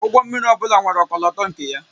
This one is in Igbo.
Ụgbọ mmiri ọ bụla nwere ọkọlọtọ nke ya